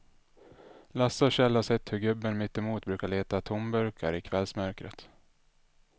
Lasse och Kjell har sett hur gubben mittemot brukar leta tomburkar i kvällsmörkret.